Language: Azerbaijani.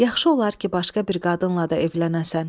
Yaxşı olar ki, başqa bir qadınla da evlənəsən.